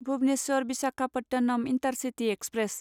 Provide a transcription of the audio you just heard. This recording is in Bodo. Bhubaneswar Visakhapatnam intercity express